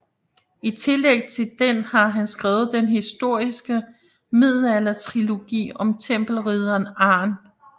I tillæg til den har han skrevet den historiske middelaldertrilogi om tempelridderen Arn